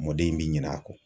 Mɔdɛli in bi ɲina a kɔ.